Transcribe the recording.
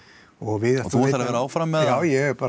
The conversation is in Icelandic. og þú ætlar að vera áfram já ég